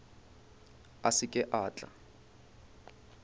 a se ke a tla